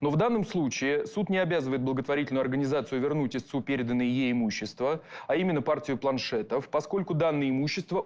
ну в данном случае суд не обязывает благотворительную организацию вернуть истцу переданное ей имущество а именно партию планшетов поскольку данное имущество